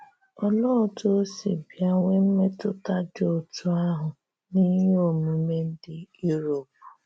Òlee otú ò sī bịa nwee mmetụta dị otú ahụ n’íhè òmùmè ndị Europe?